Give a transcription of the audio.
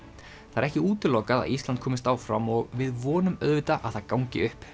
það er ekki útilokað að Ísland komist áfram og við vonum auðvitað að það gangi upp